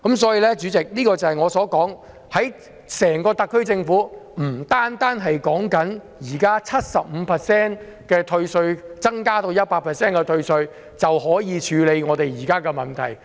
主席，正如我所說，特區政府並不能單靠現時退稅百分比由 75% 提升至 100% 的措施，就可以處理香港目前的問題。